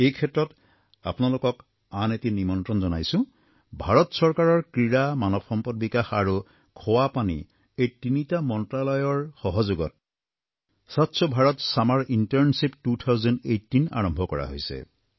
এই ক্ষেত্ৰত আপোনালোকক আন এটি নিমন্ত্ৰণ জনাইছোঁ ভাৰত চৰকাৰৰ ক্ৰীড়া মানৱ সম্পদ বিকাশ আৰু কল্যাণ আৰু খোৱা পানী এই তিনিটা মন্ত্ৰালয়ৰ সহযোগত স্বচ্ছ ভাৰত ছামাৰ ইণ্টাৰ্ণশ্বিপ ২০১৮ আৰম্ভ কৰা হৈছে